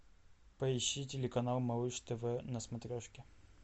поищи телеканал малыш тв на смотрешке